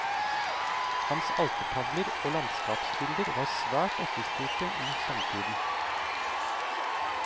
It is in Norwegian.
Hans altertavler og landskapsbilder var svært etterspurte i samtiden.